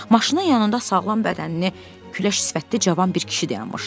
Maşının yanında sağlam bədənli, küləş sifətli cavan bir kişi dayanmışdı.